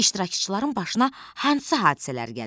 İştirakçıların başına hansı hadisələr gəlir?